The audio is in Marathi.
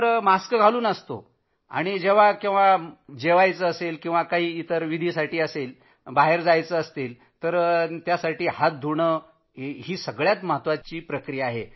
मास्क घालूनच असतो दिवसभर आणि बाहेर जेव्हा काही खाद्यपदार्थ असतील तर हात धुणं तर सर्वात महत्वाचं आहे